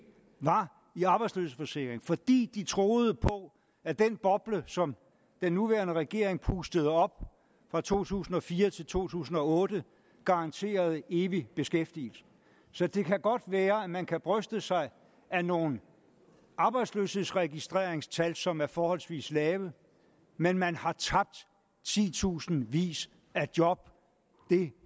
var i arbejdsløshedsforsikring fordi de troede på at den boble som den nuværende regering pustede op fra to tusind og fire til to tusind og otte garanterede evig beskæftigelse så det kan godt være at man kan bryste sig af nogle arbejdsløshedsregistreringstal som er forholdsvis lave men man har tabt titusindvis af job det